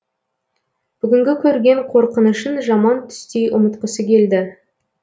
бүгінгі көрген қорқынышын жаман түстей ұмытқысы келді